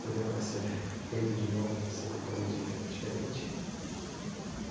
Seria para ser feito de novo, você faria dife diferente?